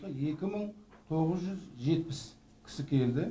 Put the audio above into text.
екі мың тоғыз жүз жетпіс кісі келді